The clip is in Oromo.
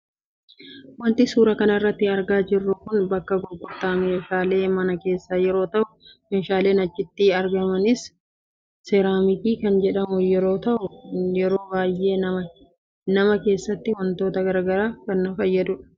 Waanti suura kana irraa argaa jirru kun bakka gurgurtaa meeshaalee mana keessaa yeroo tahu, meeshaaleen achitti argamaniis seeraamikii kan jedhamuu yeroo tahu, yeroo baayee nama keessatti waantota garaagaraaf in fayyadaani.